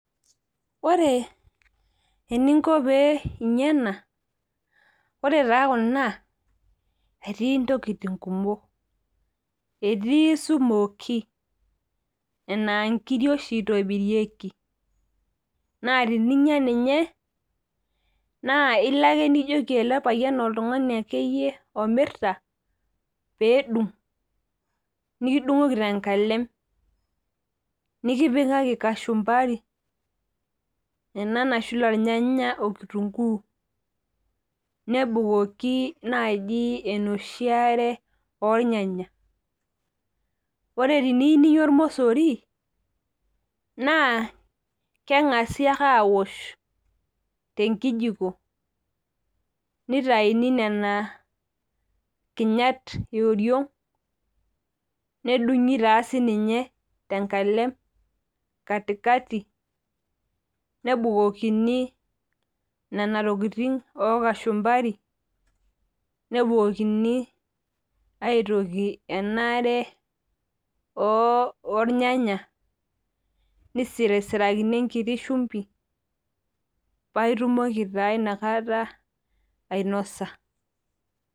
Ore eninko pee inya ena, ore taa kuna, etii intokiting kumok. Etii smokie, enaa nkiri oshi itobirieki. Na tininya ninye, naa ilo ake nijoki ele payian oltung'ani akeyie omirta, pedung',nikidung'oki tenkalem. Nikipikaki kashumbari ena nashula irnyanya okitunkuu. Nebukoki naji enoshi are ornyanya. Ore tiniu ninya ormosori, naa keng'asi ake awosh tenkijiko nitayuni nena kinyat eoriok, nedung'i taa sinye tenkalem katikati, nebukokini nena tokiting okashumbari, nebukokini aitoki enaare ornyanya, nisirisirakini enkiti shumbi, paitumoki taa inakata ainosa.